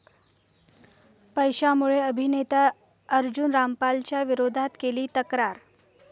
पैशांमुळे अभिनेता अर्जुन रामपालच्या विरोधात केली तक्रार